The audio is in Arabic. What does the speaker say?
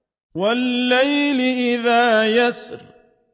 وَاللَّيْلِ إِذَا يَسْرِ